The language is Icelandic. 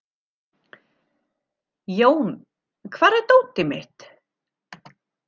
Jón, hvar er dótið mitt?